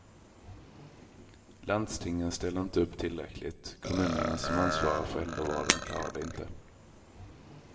Landstingen ställer inte upp tillräckligt, kommunerna som ansvarar för äldrevården klarar det inte.